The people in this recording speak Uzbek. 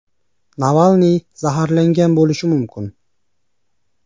Navalniy zaharlangan bo‘lishi mumkin.